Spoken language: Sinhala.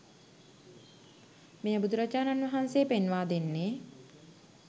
මෙය බුදුරජාණන් වහන්සේ පෙන්වා දෙන්නේ